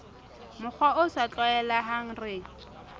mokgwa o sa tlwaelehang re